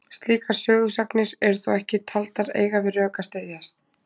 Slíkar sögusagnir eru þó ekki taldar eiga við rök að styðjast.